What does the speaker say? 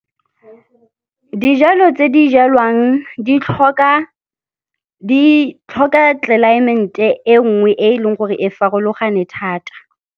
Dijalo tse di jalwang di tlhoka tlelaemente e nngwe, e e leng gore e farologane thata.